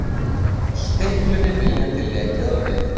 Stiklunni viljandi lekið á netið